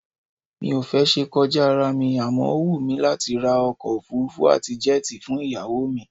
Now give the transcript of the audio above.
Mi ò fẹ́ ṣe kọjá ará mi àmọ́ ó wù mí láti ra ọkọ òfuurufú àti jẹ́ẹ̀tì fún ìyàwó mi